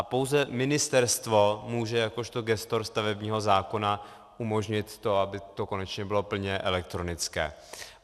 A pouze ministerstvo může jakožto gestor stavebního zákona umožnit to, aby to konečně bylo plně elektronické.